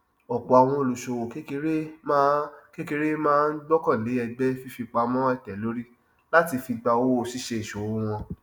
ọpọ àwọn olùṣòwò kékeré máa kékeré máa ń gbákànlẹ ẹgbẹ fífipamọ àìtẹlórí láti fi gba owó ṣíṣe ìṣòwò wọn